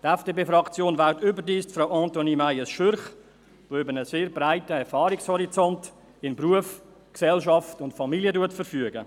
Die FDP-Fraktion wählt überdies Frau Antonie Meyes Schürch, die über einen sehr breiten Erfahrungshorizont in Beruf, Gesellschaft und Familie verfügt.